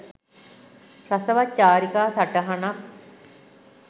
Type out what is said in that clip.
රසවත් චාරිකා සටහනක්